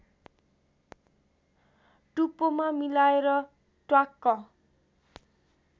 टुप्पोमा मिलाएर ट्वाक्क